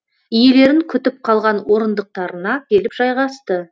иелерін күтіп қалған орындықтарына келіп жайғасты